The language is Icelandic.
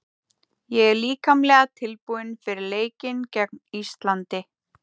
Ég er líkamlega tilbúinn fyrir leikinn gegn Íslandi.